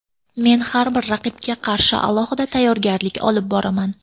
Men har bir raqibga qarshi alohida tayyorgarlik olib boraman.